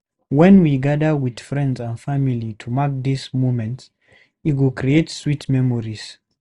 Wen we gather with friends and family to mark these moments, e go create sweet memories.